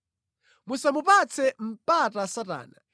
Musamupatse mpata Satana.